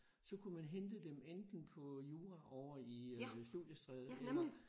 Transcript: Så kunne man hente dem enten på jura ovre i Studiestræde eller